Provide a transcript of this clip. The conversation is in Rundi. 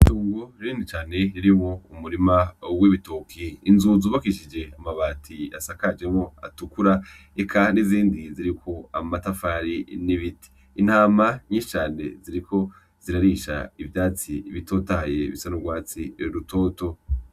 Itongo rinini cane ririmwo umurima w'ibitoke, inzu zubakishije amabati asakajwemwo atukura, eka n'izindi ziriko amatafari n'ibiti, intama nyinshi cane ziriko zirarisha ivyatsi bitotahaye bisa n'urwatsi rutoto.